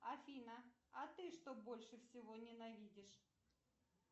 афина а ты что больше всего ненавидишь